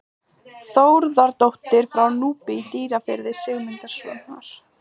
Þórðardóttir frá Núpi í Dýrafirði, Sigmundssonar.